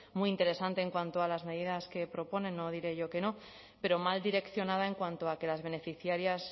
muy interesante en cuanto a las medidas que proponen no diré yo que no pero mal direccionada en cuanto a que las beneficiarias